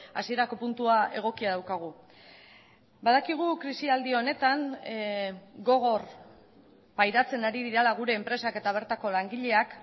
hasierako puntua egokia daukagu badakigu krisialdi honetan gogor pairatzen ari direla gure enpresak eta bertako langileak